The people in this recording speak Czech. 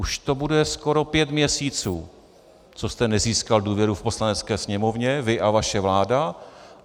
Už to bude skoro pět měsíců, co jste nezískal důvěru v Poslanecké sněmovně, vy a vaše vláda.